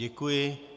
Děkuji.